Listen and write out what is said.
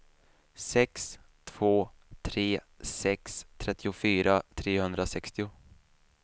sex två tre sex trettiofyra trehundrasextio